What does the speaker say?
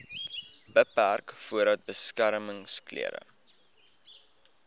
beperk voordat beskermingsklere